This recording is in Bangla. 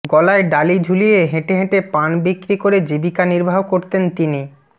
গলায় ডালি ঝুলিয়ে হেঁটে হেঁটে পান বিক্রি করে জীবিকা নির্বাহ করতেন তিনি